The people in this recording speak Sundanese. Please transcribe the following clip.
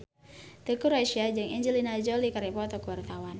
Teuku Rassya jeung Angelina Jolie keur dipoto ku wartawan